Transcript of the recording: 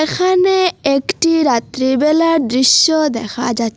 এখানে একটি রাত্রিবেলার দৃশ্য দেখা যা--